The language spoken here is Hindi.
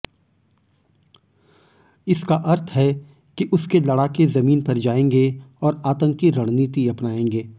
इसका अर्थ है कि उसके लड़ाके जमीन पर जाएंगे और आतंकी रणनीति अपनाएंगे